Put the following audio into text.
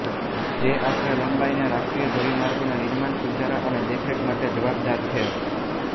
જે આશરે લંબાઈના રાષ્ટ્રીય ધોરીમાર્ગોના નિર્માણ સુધારા અને દેખરેખ માટે જવાબદાર છે